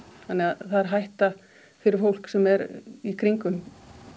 þannig að það er hætta fyrir fólk sem er í kringum